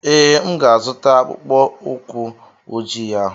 Ee, M ga-azụta akpụkpọ ụkwụ ojii ahụ.